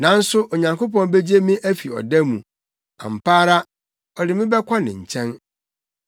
Nanso Onyankopɔn begye me afi ɔda mu; ampa ara, ɔde me bɛkɔ ne nkyɛn.